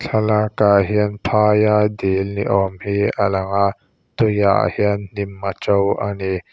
thlalakah hian phaia dil ni awm hi a lang a tui ah hian hnim a to a ni.